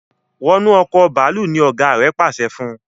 wọnú Ọkọ̀ bàálù! ní ọgá rẹ pàṣẹ fún.